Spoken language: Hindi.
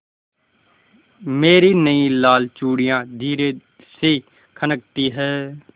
मेरी नयी लाल चूड़ियाँ धीरे से खनकती हैं